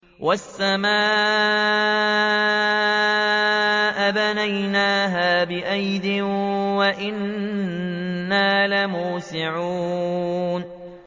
وَالسَّمَاءَ بَنَيْنَاهَا بِأَيْدٍ وَإِنَّا لَمُوسِعُونَ